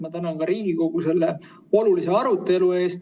Ma tänan ka Riigikogu selle olulise arutelu eest.